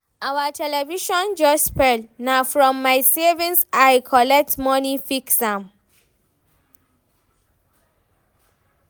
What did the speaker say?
Our television just spoil, na from my savings I collect moni fix am.